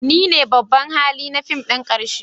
Ni ne babban hali na fim ɗin ƙarshe